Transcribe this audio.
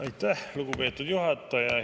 Aitäh, lugupeetud juhataja!